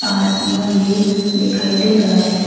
आसमान भी दिखाई दे रहा है।